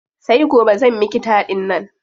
Sai gobe zan miki taɗin nan.